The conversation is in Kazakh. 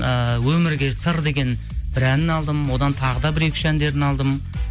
ыыы өмірге сыр деген бір әнін алдым одан тағы да бір екі үш әндерін алдым